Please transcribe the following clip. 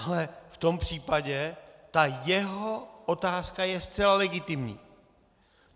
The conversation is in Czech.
Ale v tom případě ta jeho otázka je zcela legitimní.